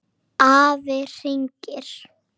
Afi hringir